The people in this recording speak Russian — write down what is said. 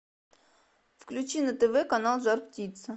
включи на тв канал жар птица